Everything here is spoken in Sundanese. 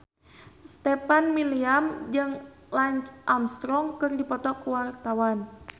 Stefan William jeung Lance Armstrong keur dipoto ku wartawan